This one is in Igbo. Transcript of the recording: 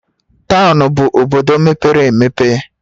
Townu bụ obodo mepere emepe